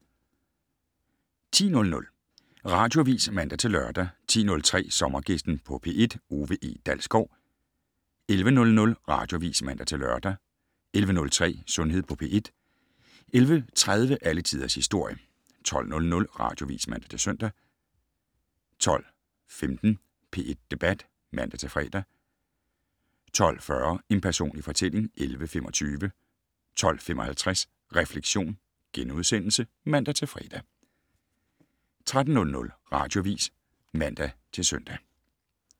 10:00: Radioavis (man-lør) 10:03: Sommergæsten på P1: Ove E. Dalsgaard 11:00: Radioavis (man-lør) 11:03: Sundhed på P1 11:30: Alle Tiders Historie 12:00: Radioavis (man-søn) 12:15: P1 Debat (man-fre) 12:40: En personlig fortælling (11:25) 12:55: Refleksion *(man-fre) 13:00: Radioavis (man-søn)